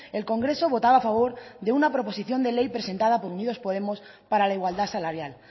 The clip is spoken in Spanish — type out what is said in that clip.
el congreso votaba a favor de una proposición de ley presentada por unidos podemos para la igualdad salarial